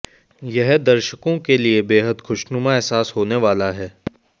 यह दर्शकों के लिये बेहद खुशनुमा एहसास होने वाला है